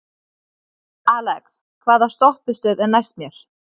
Alex, hvaða stoppistöð er næst mér?